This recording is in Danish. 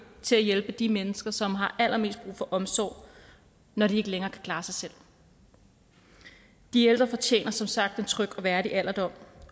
til at hjælpe de mennesker som har allermest brug for omsorg når de ikke længere kan klare sig selv de ældre fortjener som sagt en tryg og værdig alderdom